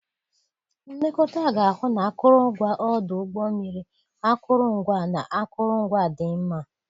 Nlekọta ga-ahụ na akụrụngwa ọdụ ụgbọ mmiri, akụrụngwa, na akụrụngwa dị mma.